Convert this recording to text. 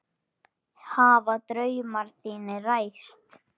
Hafa draumar þínir ræst?